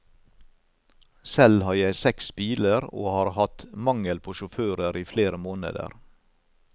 Selv har jeg seks biler, og har hatt mangel på sjåfører i flere måneder.